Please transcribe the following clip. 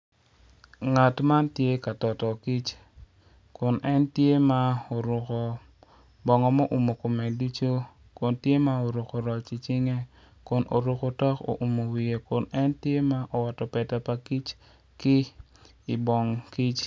Ngat man tye ka toto kic kun en tye ma oruko bongo ma oumo kome ducu kun tye ma oruko roc i cinge.